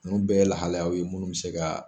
Nunnu bɛɛ ye lahalaya ye mun bi se ka